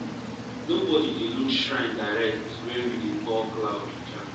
nobody dey look shrine direct when we dey call cloud with chant.